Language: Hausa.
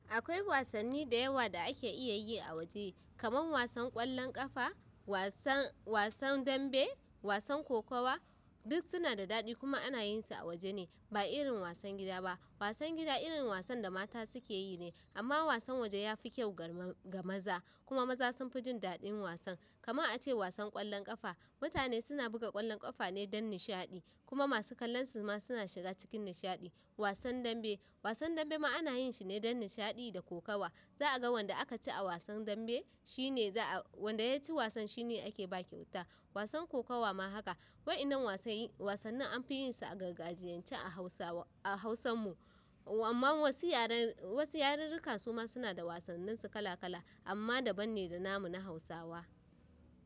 Akwai wasanni da yawa da ake iya yi a waje, kamar wasan ƙwallon ƙafa, wasan, wasan dambe, wasan kokawa duk suna da daɗi kuma ana yin su a waje ne ba irin wasan gida ba. Wasan gida irin wasan da mata suke yi ne amma wasan waje ya fi kyau gar ma-ga maza. Kuma maza sun fi jin daɗin wasan. Kaman a ce wasan ƙwallon ƙafa, mutane suna buga ƙwallon ƙafa ne don nishaɗi kuma masu kallon su ma suna shiga cikin nishaɗi. Wasan dambe, wasan dambe ma ana yin shi ne don nishaɗi da kokawa. Za a ga wanda aka ci a wasan dambe shine za a wanda ya ci wasan shine ake ba kyauta. Wasan kokawa ma haka. Wa'yanan wasanni, wasanni an fi yin su a gargajiyance a Hausawa a Hausan mu amma wasu yaran, wasu yarirrika su ma suna da wasannin su kala-kala amma daban ne da namu na Hausawa.